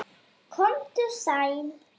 Komdu sæll.